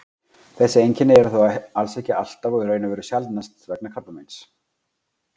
þessi einkenni eru þó alls ekki alltaf og í raun sjaldnast vegna krabbameins